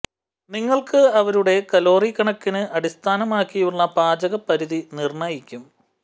നിങ്ങൾക്ക് അവരുടെ കലോറി കണക്കിന് അടിസ്ഥാനമാക്കിയുള്ള പാചക പരിധി നിർണ്ണയിക്കും